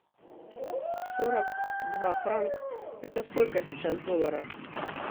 сорок два франка это сколько сейчас в долларах